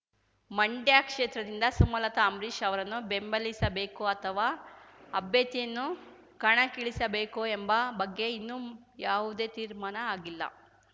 ಮಂಡ್ಯ ಕ್ಷೇತ್ರದಿಂದ ಸುಮಲತಾ ಅಂಬರೀಷ್ ಅವರನ್ನು ಬೆಂಬಲಿಸಬೇಕೋ ಅಥವಾ ಅಭ್ಯರ್ಥಿಯನ್ನು ಕಣಕ್ಕಿಳಿಸಬೇಕೋ ಎಂಬ ಬಗ್ಗೆ ಇನ್ನೂ ಯಾವುದೇ ತೀರ್ಮಾನ ಆಗಿಲ್ಲ